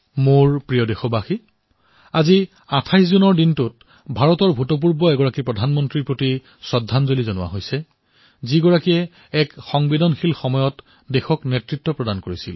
মোৰ মৰমৰ দেশবাসীসকল ২৮ জুন তাৰিখে ভাৰতে ভুতপূৰ্ব প্ৰধানমন্ত্ৰী এগৰাকীক শ্ৰদ্ধাঞ্জলি প্ৰদান কৰিছে